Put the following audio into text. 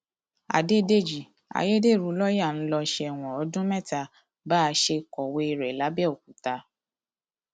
àdédéjì ayédèrú lọọyà ń lọ sẹwọn ọdún mẹta bá a ṣe kọwé rẹ lápbẹọkúta